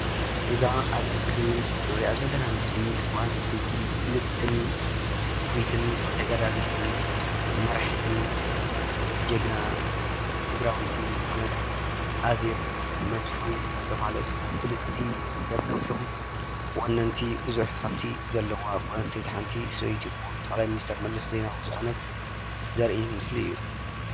እዛ ኣብ እስክሪን እንሪኣ ዘለና ምስሊ ጓለ ኣነስተይቲ ፍልጥትን ውሪትን ተጋዳሊትን መራሒትን ጅግና ትግራወይቲ ዝኮነት ኣዜብ መስፉን ዝተባሃለት ፍልጥቲ ካብቶም ወነንቲ ቡዙሓት ሃፍቲ ዘለዋ ጓለ ኣነስተይቲ ሓንቲ ሰበይቲ ክቡር ጠቅላይ ሚኒስትር መለስ ዜናዊ ዝኮነት ዘርኢ ምስሊ እዩ፡፡